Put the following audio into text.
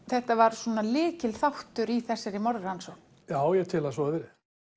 þetta var svona lykilþáttur í þessari morðrannsókn skófarið já ég tel að svo hafi verið